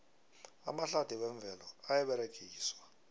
amahlathi wemvelo ayaberegiswa